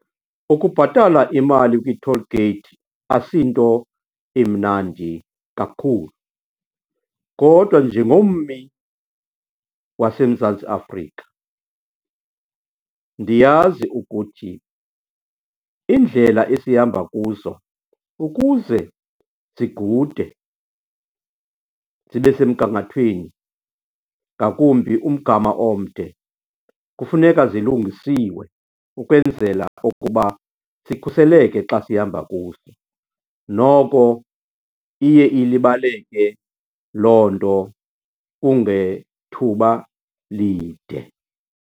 Ukubhatala imali kwi-toll gate asinto imnandi kakhulu kodwa njengommi waseMzantsi Afrika ndiyazi ukuthi iindlela esihamba kuzo ukuze zigude, zibe semgangathweni ngakumbi umgama omde, kufuneka zilungisiwe ukwenzela ukuba sikhuseleke xa sihamba kuzo. Noko iye ilibaleke loo nto kungethuba lide.